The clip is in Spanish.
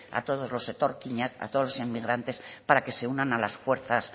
a todos los etorkinak a todos los inmigrantes para que se unan a las fuerza